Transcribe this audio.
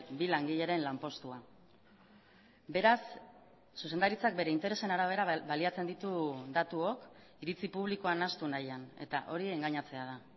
bi langileren lanpostua beraz zuzendaritzak bere interesen arabera baliatzen ditu datuok iritzi publikoa nahastu nahian eta hori engainatzea da